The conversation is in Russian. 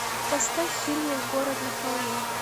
поставь фильмик город на холме